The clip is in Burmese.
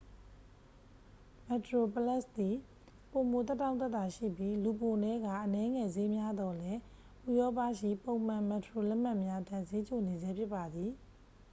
မက်တရိုပလက်စ် သည် ပိုမို သက်တောင့်သက်သာရှိပြီး လူပိုနည်းကာအနည်းငယ် စျေးများသော်လည်း ဥရောပရှိ ပုံမှန်မက်ထရိုလက်မှတ်များထက် စျေးချိုနေဆဲဖြစ်ပါသည်